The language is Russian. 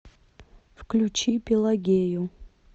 включи пелагею